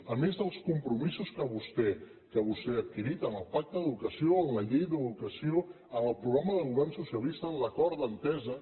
a més dels compromisos que vostè ha adquirit en el pacte d’educació en la llei d’educació en el programa de govern socialista en l’acord d’entesa